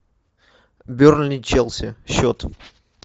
бернли челси счет